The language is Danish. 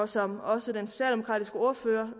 som også den socialdemokratiske ordfører